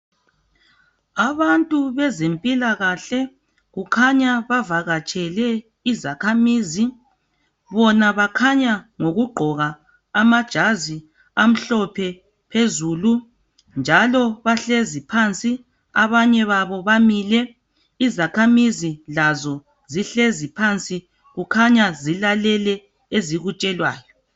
Abantu bezempilakahle kukhanya bavakatshele izakhamizi , bona bakhanya ngokugqoka amajazi amhlophe phezulu, njalo bahlezi phansi, abanye babo bamile, izakhamizi lazo zihlezi phansi, kukhanya zilalele ezikutshelwayo.